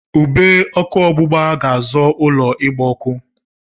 Ube ọkụ ọgbụgba ga-azọ ụlọ ịgba ọkụ.